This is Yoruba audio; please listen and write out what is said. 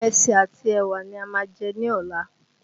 Ìrẹsì àti ẹ̀wà ni a máa jẹ ní ọ̀la